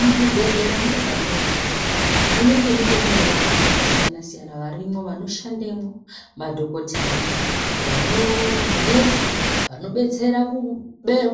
Muzvibhedhlera mwega mwega, munenge mutori nevantu vakasiyana siyana varimwo, vanoshandemwo-madhokoteya, vano..manesi, vanodetsera